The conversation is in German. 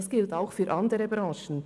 Das gilt auch für andere Branchen.